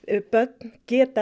börn geta